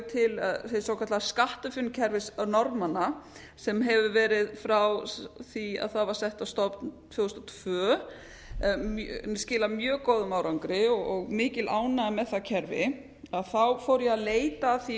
til hins svokallaða skattahrunkerfis norðmanna sem hefur verið frá því það var sett á stofn tvö þúsund og tvö skilað mjög góðum árangri og mikil ánægja með það kerfi þá fór ég að leita að því